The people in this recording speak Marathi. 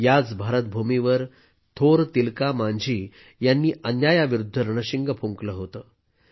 याच भारतभूमीवर थोर तिलका मांझी यांनी अन्यायाविरुद्ध रणशिंग फुंकले होते